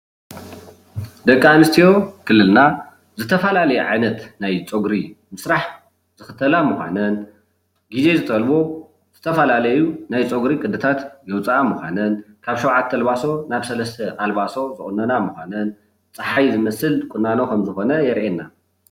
ደቂ አነስትዮ ክልልና ዝተፈላለየ ዓይነት ናይ ፀጉሪ ምስራሕ ዝክተላ ምኳነን ፤ግዜ ዝጠልቦ ዝተፈላለዩ ናይ ፀጉሪ ቅድታት ዘውፃአ ምኳነን፤ ካብ ሸውዓተ ኣልባሶ ናብ ሰለስተ ኣልባሶ ዝቁነና ምኳነን ፀሓይ ዝመስል ዘርኢ ቆናኖ የርእየና፡፡